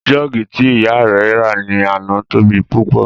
Jọ́ọ̀gì tí ìyá rẹ̀ rà ní àná tóbi púpọ̀